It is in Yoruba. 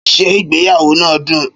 Ṣé ìgbéyàwó náà dùn?